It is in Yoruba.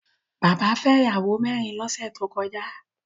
Bàbá fẹ́ ìyàwó mẹ́rin lọ́sẹ̀ tó kọjá